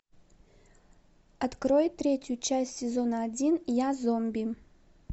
открой третью часть сезона один я зомби